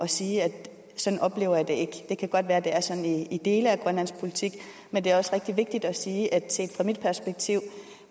sige at sådan oplever jeg det ikke det kan godt være at det er sådan i dele af grønlandsk politik men det er også rigtig vigtigt at sige at set fra mit perspektiv